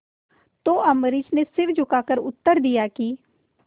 तो अम्बरीश ने सिर झुकाकर उत्तर दिया कि